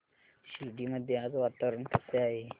शिर्डी मध्ये आज वातावरण कसे आहे